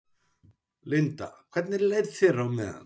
Linda: Hvernig leið þér á meðan?